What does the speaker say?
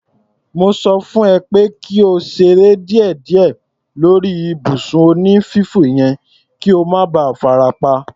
Mo sọ fún ẹ pé kí o ṣeré díẹ̀díẹ̀ lórí ibùsùn onífífò yẹn kí o má ba farapa.